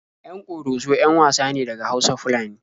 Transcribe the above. Yan Ƙoroso 'yan wasa ne daga Hausa-Fulani.